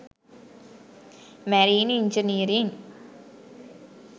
marine engineering